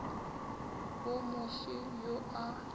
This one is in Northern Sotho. wo mo fe yo a